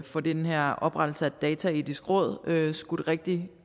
få den her oprettelse af et dataetisk råd skudt rigtig